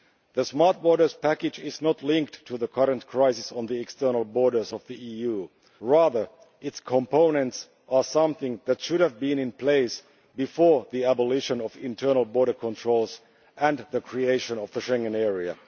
The Smart Borders Package is not linked to the current crisis on the external borders of the EU, rather its components are something that should have been in place before the abolition of internal border controls and the creation of the Schengen area.